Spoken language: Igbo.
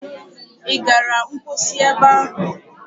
Ị gara mposi ebe ahụ?